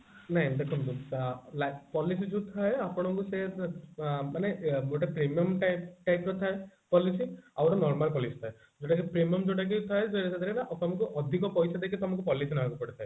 ନାଇଁ ଏ ଅ life policy ଯୋଉ ଥାଏ ଆପଣଙ୍କୁ ସେ ଏ ମାନେ premium type ର ଥାଏ policy ଆଉ ଗୋଟେ normal policy ଥାଏ ଯୋଉଟା କି premium ଯୋଉଟା କି ଥାଏ ସେଥିରେ ଆପଣଙ୍କୁ ସେଥିରେ ଅଧିକ ପଇସା ଦେଇ ଆପଣାକୁ policy ନେବାକୁ ପଡେ